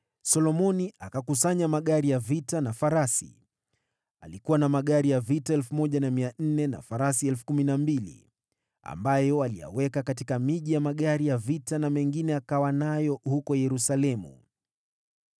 Solomoni akakusanya magari ya vita na farasi. Alikuwa na magari 1,400 na farasi 12,000, ambayo aliyaweka katika miji ya magari na mengine akawa nayo huko Yerusalemu.